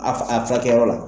A f a furakɛyɔrɔ la